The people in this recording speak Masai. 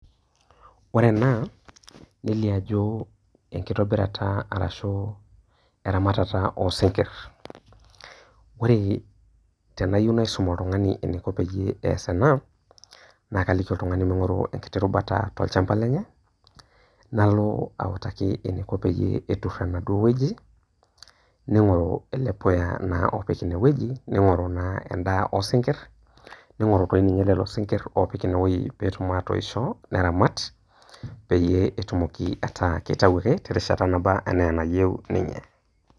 Oore ena, nelio aajo enkitobirata arashu eramatata osinkir. Oore teneyieu naisum oltung'ani eneiko peyie ias eena, naa kaliki oltung'ani meing'oru enkiti rubata tolchamba lenye, naalo autaki eneiko peyie etur enaduo wueji, neing'oru eele puuya naa opik eene wueji, neing'oru naa en'daa osinkir, neing'oru toi ninye lelo sinkir oopik iine wueji peetum atoisho, neramat peyie etumoki ataa keitau aake terishata naba enaa enayieu niinye.